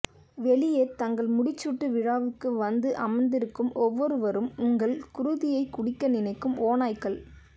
வெளியே தங்கள் முடிசூட்டுவிழாவுக்கு வந்து அமர்ந்திருக்கும் ஒவ்வொருவரும் உங்கள் குருதியைக்குடிக்க நினைக்கும் ஓநாய்கள்